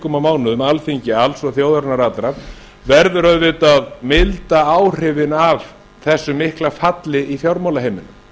og mánuðum alþingi alls og þjóðarinnar allrar verður auðvitað að milda áhrifin af þessu mikla falli í fjármálaheiminum